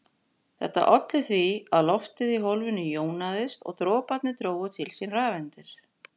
Þetta olli því að loftið í hólfinu jónaðist og droparnir drógu til sín rafeindir.